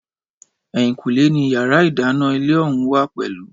Ẹ̀yìnkùlé ni yàrá ìdáná ilé ọ̀hún wà pẹ̀lú